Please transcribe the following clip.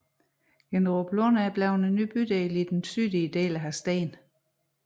Ginneruplund er en fremtidig bydel i den sydlige del af Hadsten